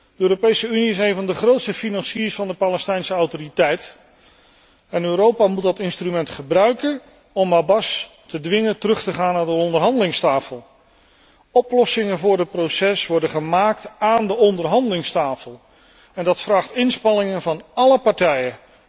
De Europese Unie is een van de grootste financiers van de Palestijnse Autoriteit en Europa moet dat instrument gebruiken om Abbas te dwingen terug te gaan naar de onderhandelingstafel. Oplossingen voor het proces worden gemaakt aan de onderhandelingstafel en dat vraagt inspanningen van alle partijen.